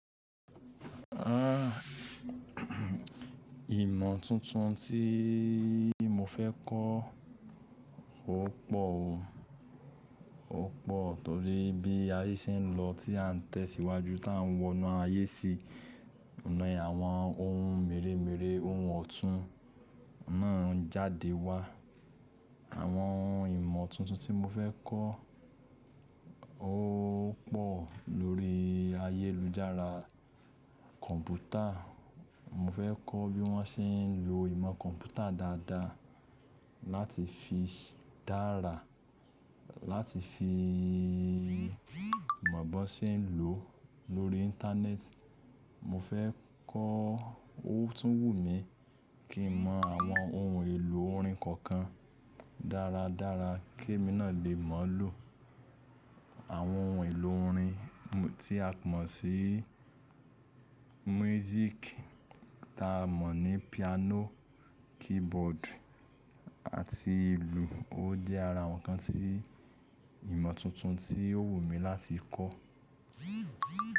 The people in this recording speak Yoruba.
Àn, ìmọ̀ tuntun tí mo fẹ́ kọ́ ó pọ̀ o. Ó pọ̀ torí bí ayé ṣe ń lọ tí à ń tẹ̀síwájú tí à ń wọnú ayé sí, ǹi àwọn ohun mèremère ohun ọ̀tún náà ń jáde wá. Àwọn ìmọ̀ tuntun tí mo fẹ́ kọ́ ó pọ̀ lórí ayélujára kọ̀ǹpútà. Mo fẹ́ kọ́ bí wọ́n ṣe ń lo ìmọ̀ kọ̀ǹpútà dáadáa láti fi dára, láti fi mọ̀ bó ṣe ń lò lórí Íńtánẹ́ẹ̀tì. Mo fẹ́ kọ́, ó tún wù mí kí n mọ àwọn ohun èlò orin kọ̀ọ̀kan dáradára kí èmi náà lè mọ̀ lò àwọn ohun èlò orin tí a mọ̀ sí múísíkì, ta mọ̀ ní piano, keyboard àti ìlù. Ó jẹ́ ara àwọn nǹkan tí ìmọ̀ tuntun tí ó wù mí láti kọ́.